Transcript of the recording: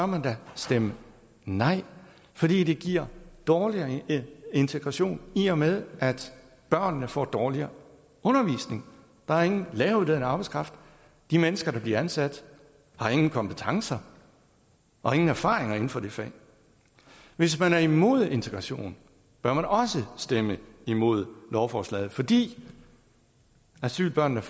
man da stemme nej fordi det giver dårligere integration i og med at børnene får dårligere undervisning der er ingen læreruddannet arbejdskraft de mennesker der bliver ansat har ingen kompetencer og ingen erfaringer inden for det fag hvis man er imod integration bør man også stemme imod lovforslaget fordi asylbørnene